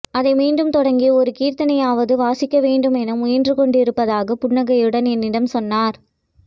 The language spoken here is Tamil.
அதை மீண்டும் தொடங்கி ஒரு கீர்த்தனையாவது வாசிக்கவேண்டும் என முயன்றுகொண்டிருப்பதாக புன்னகையுடன் என்னிடம் சொன்னார்